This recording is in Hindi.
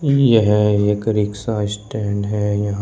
यह एक रिक्शा स्टैंड है यहां।